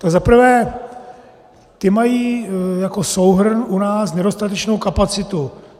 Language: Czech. Za prvé, ty mají jako souhrn u nás nedostatečnou kapacitu.